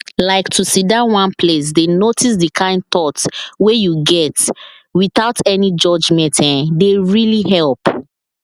like to sidon one place dey notice the kind thoughts wey you get without any judgement[um]dey really help